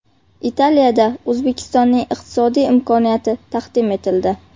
Italiyada O‘zbekistonning iqtisodiy imkoniyati taqdim etildi.